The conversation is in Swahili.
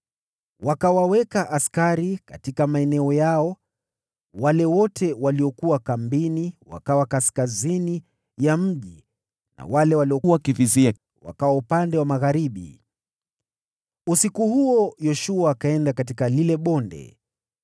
Wakawaweka askari katika maeneo yao: wale wote waliokuwa kambini wakawa kaskazini ya mji na wale waliokuwa wakivizia wakawa upande wa magharibi. Usiku huo Yoshua akaenda katika lile bonde.